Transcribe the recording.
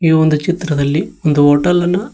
ಇದು ಒಂದು ಚಿತ್ರದಲ್ಲಿ ಒಂದು ಹೋಟೆಲ್ ನ--